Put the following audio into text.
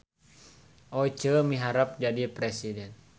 Oceu miharep jadi presiden